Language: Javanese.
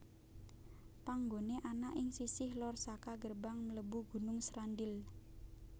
Panggoné ana ing sisih lor saka gerbang mlebu Gunung Srandil